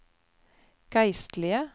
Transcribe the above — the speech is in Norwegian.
geistlige